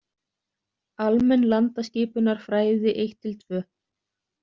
Almenn landaskipunarfrædi I-II.